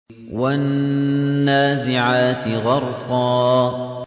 وَالنَّازِعَاتِ غَرْقًا